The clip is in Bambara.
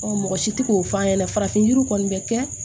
mɔgɔ si tɛ k'o f'a ɲɛna farafin yiriw kɔni bɛ kɛ